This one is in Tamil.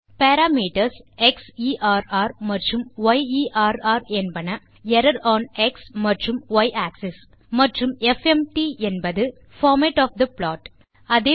தே பாராமீட்டர்ஸ் க்ஸெர் மற்றும் யெர் என்பன எர்ரர் ஒன் எக்ஸ் மற்றும் ய் ஆக்ஸிஸ் மற்றும் எஃப்எம்டி என்பது பார்மேட் ஒஃப் தே ப்ளாட்